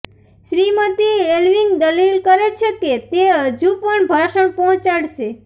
Shrimati Alving દલીલ કરે છે કે તે હજુ પણ ભાષણ પહોંચાડશે